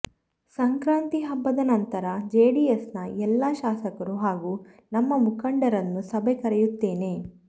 ಸಂಕ್ರಾಂತಿ ಹಬ್ಬದ ನಂತರ ಜೆಡಿಎಸ್ನ ಎಲ್ಲ ಶಾಸಕರು ಹಾಗೂ ನಮ್ಮ ಮುಖಂಡರನ್ನು ಸಭೆ ಕರೆಯುತ್ತೇನೆ